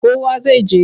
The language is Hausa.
Kowa zai je.